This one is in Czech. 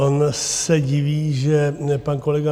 On se diví, že pan kolega